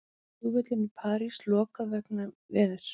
Flugvöllum í París lokað vegna veðurs